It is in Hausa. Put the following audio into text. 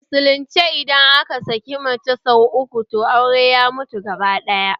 A musulunce idan aka saki mace sau uku, toh auren ya mutu gabaɗaya